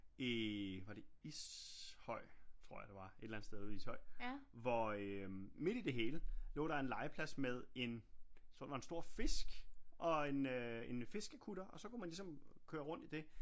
I var det Ishøj tror jeg det var et eller andet sted ude i Ishøj hvor øh midt i det hele lå der en legeplads med en jeg tror det var en stor fisk og en øh en fiskekutter og så kunne man ligesom køre rundt i det